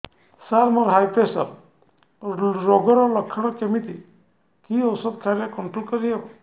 ସାର high pressure ରୋଗର ଲଖଣ କେମିତି କି ଓଷଧ ଖାଇଲେ କଂଟ୍ରୋଲ କରିହେବ